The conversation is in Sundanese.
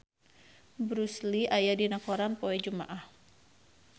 Bruce Lee aya dina koran poe Jumaah